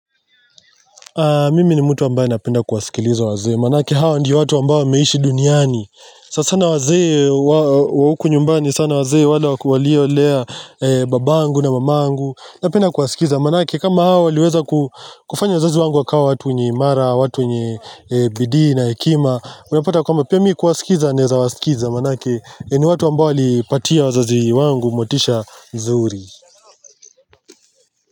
Mimi ni mtu ambaye napenda kuwasikiliza wazee maanake hawa ndio watu ambayo wameishi duniani. Sanasana wazee wa huku nyumbani sana wazee waliolea babangu na mamangu, napenda kuwasikiza maanake kama hao waliweza kufanya wazazi wangu wakawa watu wenye imara, watu wenye bidii na hekima unapata kwamba pia mi kuwasikiza, naweza kuwaskiza maanake ni watu ambayo walipatia wazazi wangu motisha nzuri.